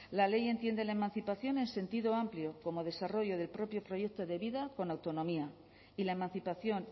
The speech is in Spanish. la ley entiende la emancipación en sentido amplio como desarrollo del propio proyecto de vida con autonomía y la emancipación